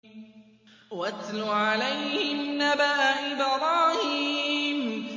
وَاتْلُ عَلَيْهِمْ نَبَأَ إِبْرَاهِيمَ